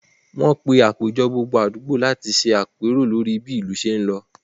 Wọ́n pé àpéjọ gbogbo àdúgbò láti ṣe apero lórí bí ìlú ṣé ń lọ